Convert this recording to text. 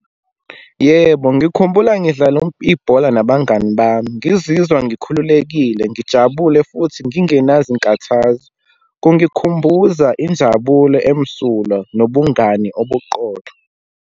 Yebo, ngikhumbula ngidlala ibhola nabangani bami, ngizizwa ngikhululekile, ngijabule futhi ngingenazinkathazo. Kungikhumbuza injabulo emsulwa nobungani obuqotho.